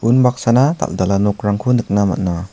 unbaksana dal·dala nokrangko nikna man·a.